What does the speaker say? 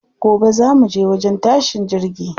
Gobe za muje wajen tashin jirgi.